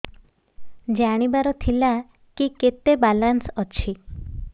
ଜାଣିବାର ଥିଲା କି କେତେ ବାଲାନ୍ସ ଅଛି